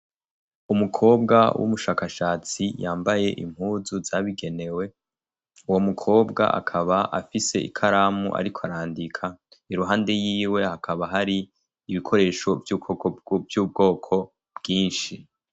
Umukobwa w'umushakashatsi yambaye impuzu zabigenewe uwo mu kobwa akaba afise ikaramu ariko arandika iruhande yiwe hakaba hari ibikoresho vy'ubwoko bwinshi